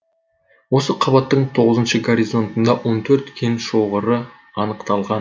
осы қатқабаттың тоғызыншы горизонтында он төрт кен шоғыры анықталған